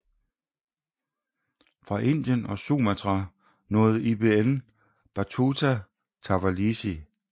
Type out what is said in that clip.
Fra Indien og Sumatra nåede Ibn Battuta Tawalisi